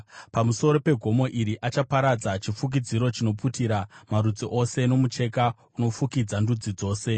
Pamusoro pegomo iri, achaparadza chifukidziro chinoputira marudzi ose, mucheka unofukidza ndudzi dzose;